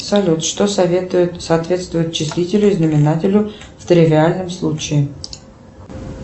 салют что соответствует числителю и знаменателю в тривиальном случае